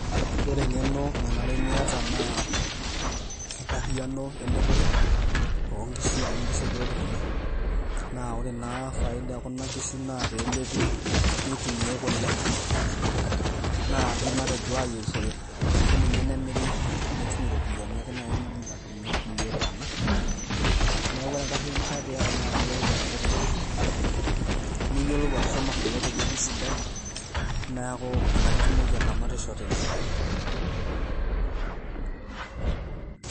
Ore eng'eno nanare niata naa enkariano elepore o nkishu amu nkishu e giredi kuna, naa ore naa faida e kuna kishu naa pelepi nitumiai kule naaji matejo ayerishore ashu ninye nemiri nitum iropiani ake nai niindim atudung'ie kulie tana. Neeku ore enkariano nifaa piyata naa piiyolou atalepo nkishu, niyolou atushuma kule te wueji sidai. Neeku inakata itumoki ataramatisho tene.